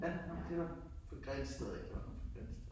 Ja. Nåh det var fra Grindsted af han var fra Grindsted